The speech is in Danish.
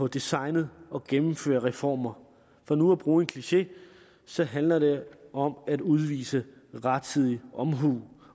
designe og gennemføre reformer for nu at bruge en kliché så handler det om at udvise rettidig omhu